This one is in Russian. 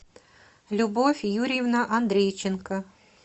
любовь юрьевна андрейченко